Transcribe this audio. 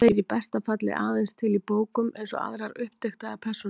Þeir eru í besta falli aðeins til í bókum, eins og aðrar uppdiktaðar persónur.